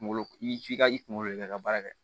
Kunkolo i f'i ka i kunkolo de ka baara kɛ